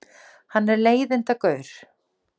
Hann er leiðindagaur.